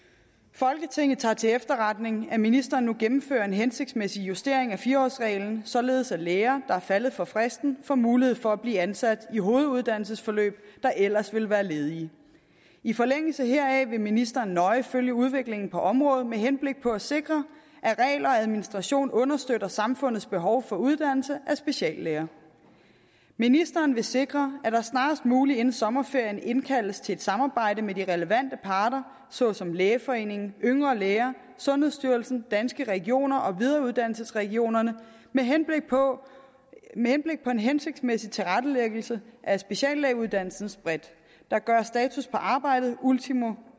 folketinget tager til efterretning at ministeren nu gennemfører en hensigtsmæssig justering af fire årsreglen således at læger er faldet for fristen får mulighed for at blive ansat i hoveduddannelsesforløb der ellers ville være ledige i forlængelse heraf vil ministeren nøje følge udviklingen på området med henblik på at sikre at regler og administration understøtter samfundets behov for uddannelse af speciallæger ministeren vil sikre at der snarest muligt inden sommerferien indkaldes til et samarbejde med de relevante parter såsom lægeforeningen yngre læger sundhedsstyrelsen danske regioner og videreuddannelsesregionerne med henblik på en hensigtsmæssig tilrettelæggelse af speciallægeuddannelsen bredt der gøres status på arbejdet ultimo